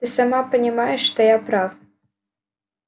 ты сама понимаешь что я прав